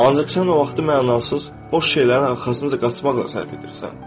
Ancaq sən o vaxtı mənasız, boş şeylərin arxasınca qaçmaqla sərf edirsən.